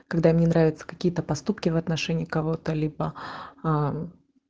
когда мне нравятся какие-то поступки в отношении кого-то либо аа